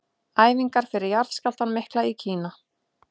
Æfingar fyrir jarðskjálftann mikla í Kína.